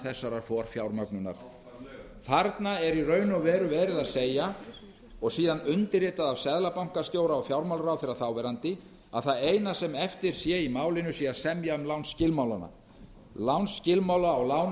þessarar forfjármögnunar þarna er í raun og veru verið að segja og síðan undirritað af seðlabankastjóra og fjármálaráðherra þáverandi að það eina sem er eftir í málinu sé að semja um lánsskilmálana lánsskilmálana á lánunum